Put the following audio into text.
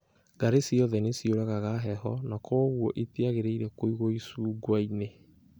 Ngarĩ ciothe nĩ ciũragaga heho na kwoguo itiagĩrĩire kũigwo icungwa-inĩ.